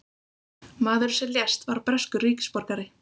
Maðurinn sem lést var breskur ríkisborgari